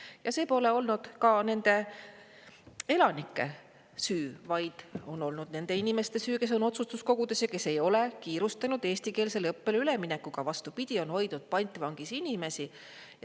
Ja see pole olnud ka nende elanike süü, vaid on olnud nende inimeste süü, kes on otsustuskogudes ja kes ei ole kiirustanud eestikeelsele õppele üleminekuga, vastupidi, on hoidnud pantvangis inimesi.